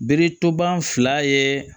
Bere toban fila ye